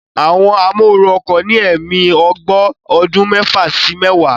Àwọn amóooru ọkọ̀ ní ẹ̀mí ogbó ọdún mẹ́fà sí mẹ́wàá